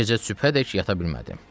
O gecə sübhədək yata bilmədim.